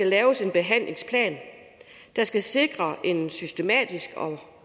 laves en behandlingsplan der skal sikre en systematisk